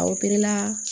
la